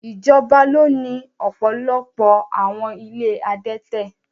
Ijọba ni o ni ọpọlọpọ awọn ìlé adẹtẹ